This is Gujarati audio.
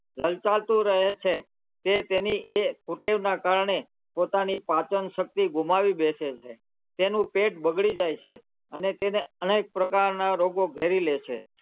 લલચાતું રહે છે તે તેની એ કુટેવના કારણે પોતાની પાચનશક્તિ ગુમાવી બેસે છે તેનું પેટ બગડી જાય છે અને તેને અનેક પ્રકારનાં રોગો ઘેરી લે છે.